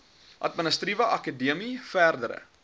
administratiewe akademie verdere